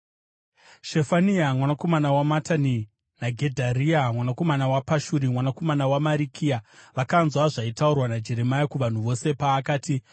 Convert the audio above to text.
Shefania mwanakomana waMatani naGedharia mwanakomana waPashuri mwanakomana waMarikiya vakanzwa zvaitaurwa naJeremia kuvanhu vose paakati,